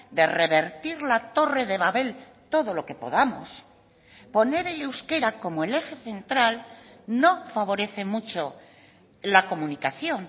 de revertir la torre de babel todo lo que podamos poner el euskera como el eje central no favorece mucho la comunicación